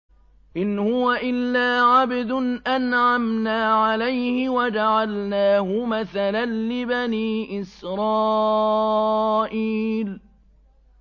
إِنْ هُوَ إِلَّا عَبْدٌ أَنْعَمْنَا عَلَيْهِ وَجَعَلْنَاهُ مَثَلًا لِّبَنِي إِسْرَائِيلَ